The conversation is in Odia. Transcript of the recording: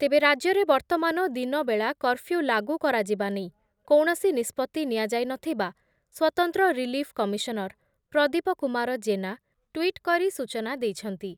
ତେବେ ରାଜ୍ୟରେ ବର୍ତ୍ତମାନ ଦିନବେଳା କର୍ଫ୍ୟୁ ଲାଗୁ କରାଯିବା ନେଇ କୌଣସି ନିଷ୍ପତ୍ତି ନିଆଯାଇନଥିବା ସ୍ଵତନ୍ତ୍ର relief commissioner Pradeep Kumar Jena tweet କରି ସୂଚନା ଦେଇଛନ୍ତି ।